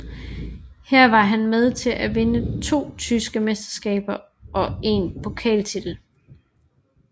Her var han med til at vinde to tyske mesterskaber og en pokaltitel